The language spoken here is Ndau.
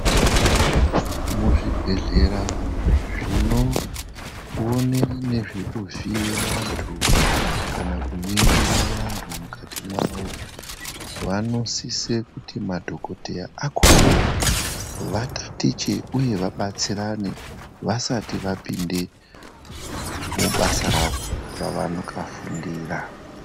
Muzvibhedhlera zvinoona nezvekuvhiye vandu kana kuningira andu mukati mavo vanosise kuti madhokoteya akhona vatatiche uye vabatsirane vasati vapinde mubasa ravo ravakafundira.